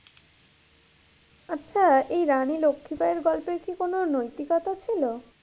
আচ্ছা এই রানী লক্ষি বাইয়ের গল্পের কি কোনো নৈতিকতা ছিল?